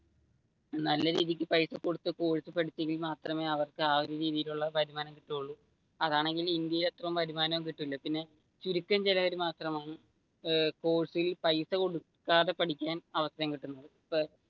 നല്ല രീതിക്ക് പൈസ കൊടുത്തു കോഴ്സ് പഠിച്ചെങ്കിൽ മാത്രമേ അവർക്ക് ആ ഒരു രീതിയിലുള്ള വരുമാനം കിട്ടുകയുള്ളു അതാണെങ്കിൽ ഇന്ത്യയിൽ അത്രയും വരുമാനം കിട്ടുകയുമില്ല ചുരുക്കം ചിലർ മാത്രമാണ് ഏർ കോഴ്സ്ി ൽ പൈസ കൊടുക്കാതെ പഠിക്കാൻ അവസരം കിട്ടുന്നത്.